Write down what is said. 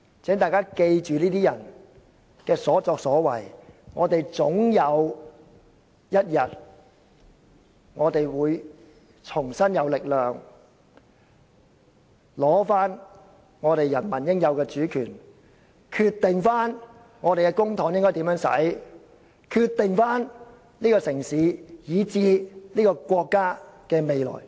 請大家記住這些人的所作所為，我們總有一天會重新有力取回人民應有的主權，決定我們的公帑應如何運用，決定這個城市以至國家的未來。